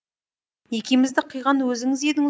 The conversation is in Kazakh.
некемізді қиған өзіңіз едіңіз